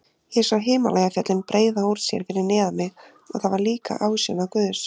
Ég sá Himalajafjöllin breiða úr sér fyrir neðan mig og það var líka ásjóna Guðs.